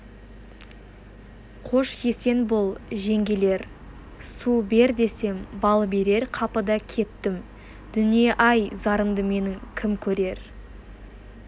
қош-есен бол жеңгелер су бер десем бал берер қапыда кеттім дүние-ай зарымды менің кім көрер